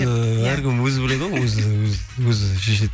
ііі әркім өзі біледі ғой өзі шешеді